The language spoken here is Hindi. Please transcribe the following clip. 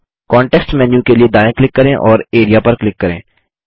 कॉन्टेक्स्ट मेन्यू के लिए दायाँ क्लिक करें और Areaपर क्लिक करें